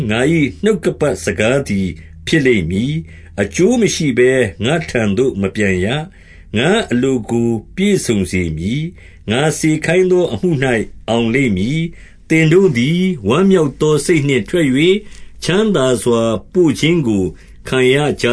ငါ၏နှုတ်ကပတ်တော်သည် အကျိုးမရှိဘဲ ငါ့ထံသို့မပြန်ရ။ ငါ့အလိုကိုပြည့်စုံစေမည်။ ငါစေခိုင်းသောအမှု၌ အောင်လိမ့်မည်။ သင်တို့သည် ဝမ်းမြောက်သောစိတ်နှင့် ထွက်၍ချမ်းသာစွာပို့ခြင်းကိုခံရက